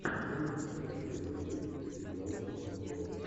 можешь показать трезвый водитель где играла эмма стоун